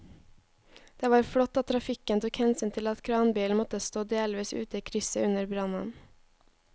Det var flott at trafikken tok hensyn til at kranbilen måtte stå delvis ute i krysset under brannen.